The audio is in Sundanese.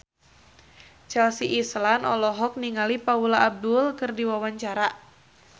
Chelsea Islan olohok ningali Paula Abdul keur diwawancara